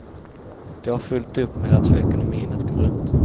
De har fullt upp med att få ekonomin att gå runt.